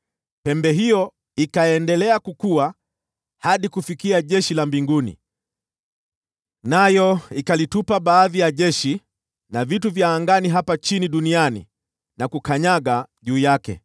Pembe hiyo ikaendelea kukua hadi kufikia jeshi la mbinguni, nayo ikalitupa baadhi ya jeshi la vitu vya angani hapa chini duniani, na kulikanyaga.